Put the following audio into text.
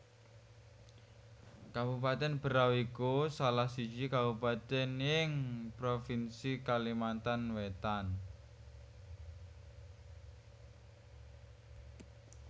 Kabupatèn Berau iku salah siji kabupatèn ing provinsi Kalimantan Wétan